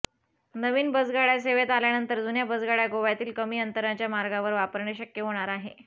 नवीन बसगाडय़ा सेवेत आल्यानंतर जुन्या बसगाडय़ा गोव्यातील कमी अंतराच्या मार्गावर वापरणे शक्य होणार आहे